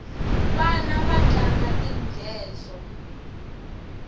vana vatlanga tinghedzo